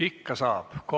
Ikka saab!